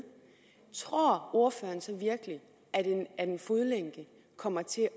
tror ordføreren så virkelig at en fodlænke kommer til